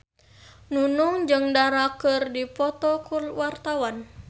Nunung jeung Dara keur dipoto ku wartawan